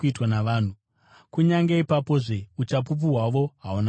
Kunyange ipapozve uchapupu hwavo hahuna kupindirana.